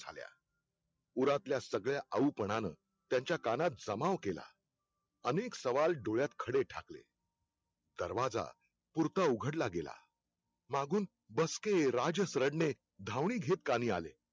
झाल्या उरातल्या सगळ्या आऊपणान त्यांचा कानात जमाव केला. अनेक सवाल डोळ्यात खडे ठाकले. दरवाजा पुरता उघडला गेला. मागून बसके राजस रडणे धावनी घेत कानी आले.